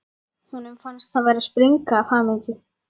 Honum fannst hann vera að springa af hamingju.